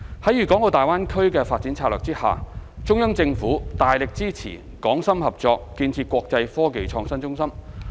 在粵港澳大灣區的發展策略下，中央政府大力支持港深合作建設國際科技創新中心。